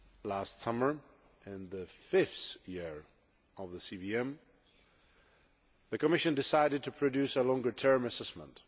Last summer, in the fifth year of the CVM, the Commission decided to produce a longer term assessment.